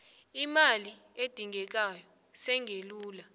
imali edingekako singelula